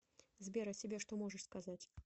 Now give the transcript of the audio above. сбер о себе что можешь сказать